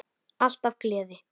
Alltaf gleði.